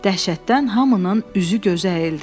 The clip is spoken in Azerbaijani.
Dəhşətdən hamının üzü-gözü əyildi.